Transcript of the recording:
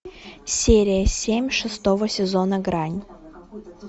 серия семь шестого сезона грань